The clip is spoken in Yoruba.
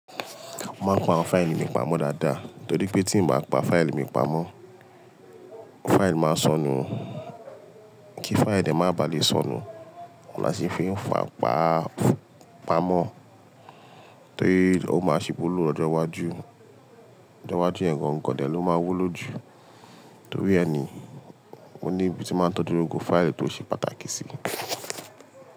Mo máa ń pa àwọn fáìlì mi pamọ́ dáadáa torí pé tí ń bá pa fáìlì mi pamọ́, fáìlì máa sọnù. Kí fáìlì dẹ má bà lè sọnù, oun là sì fi ń fà pa pamọ́, torí ó máa ṣí wu ló lọ́jọ́ iwájú. Lọ́jọ́ iwájú yeń gan gan dẹ ló máa wu lójú. Torí ẹni, mo ní ibi tí máa ń tọ́jú gbógbo fáìlì tó ṣe pàtàkì si.